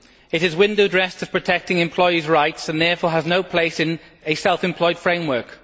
It is window dressed to protect employees' rights and therefore has no place in a self employed framework.